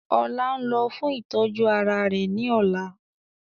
Ọlá ń lọ fún ìtọ́jú ara rẹ ní ọ̀la